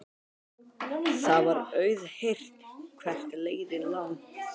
Það var auðheyrt hvert leiðin lá.